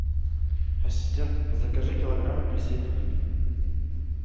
ассистент закажи килограмм апельсин